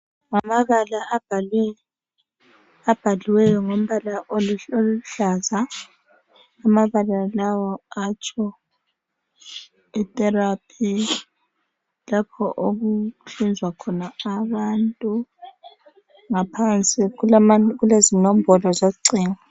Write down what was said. ngamabala abhaliweyo ngombala oluhlaza amabala lawa atsho i therapy lapho okuhlinzwa khona abantu ngaphansi kulezinombolo zocingo